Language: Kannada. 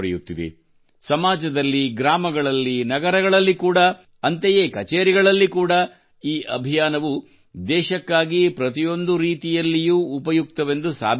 ಸಮಾಜದಲ್ಲಿ ಗ್ರಾಮಗಳಲ್ಲಿ ನಗರಗಳಲ್ಲಿ ಕೂಡಾ ಅಂತೆಯೇ ಕಛೇರಿಗಳಲ್ಲಿ ಕೂಡಾ ಈ ಅಭಿಯಾನವು ದೇಶಕ್ಕಾಗಿ ಪ್ರತಿಯೊಂದು ರೀತಿಯಲ್ಲಿಯೂ ಉಪಯುಕ್ತವೆಂದು ಸಾಬೀತಾಗುತ್ತಿದೆ